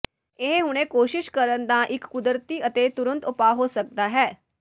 ਇਹ ਹੁਣੇ ਕੋਸ਼ਿਸ਼ ਕਰਨ ਦਾ ਇੱਕ ਕੁਦਰਤੀ ਅਤੇ ਤੁਰੰਤ ਉਪਾਅ ਹੋ ਸਕਦਾ ਹੈ